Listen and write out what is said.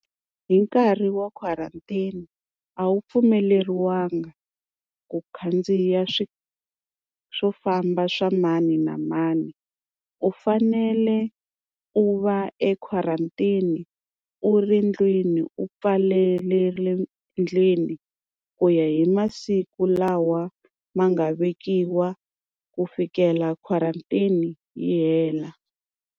Hi nkarhi wa quarantine a wu pfumeleliwanga ku khandziya swi swo famba swa mani na mani. U fanele u va equarantine u ri ndlwini u pfalelele ndlwini ku ya hi masiku lawa ma nga vekiwa ku fikela quarantine yi hela.